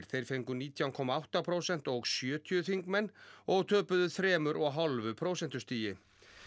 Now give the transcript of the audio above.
þeir fengu nítján komma átta prósent og sjötíu þingmenn og töpuðu þremur og hálfu prósentustigi